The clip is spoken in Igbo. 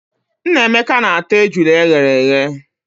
Nnameka na-ata ejula eghere eghe.